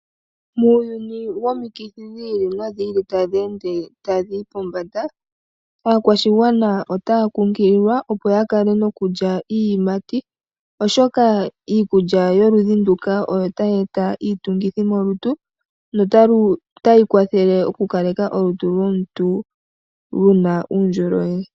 Muuyuni womikithi dhi ili nodhi ili tadhi ende tadhi yi pombanda aakwashigwana otaya kunkililwa, opo ya kale nokulya iiyimati, oshoka iikulya yoludhi nduka oyo tayi eta iinguthi molutu notayi kwathele olutu lwomuntu lu kale luna uundjolowele.